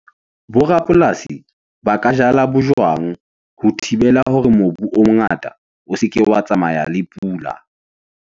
Bo rapolasi ba ka jala bojwang ho thibela hore mobu o mongata o se ke wa tsamaya le pula.